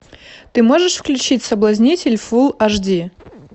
ты можешь включить соблазнитель фул аш ди